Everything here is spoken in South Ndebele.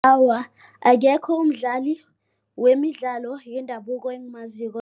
Awa, akekho umdlali wemidlalo yendabuko engimaziko.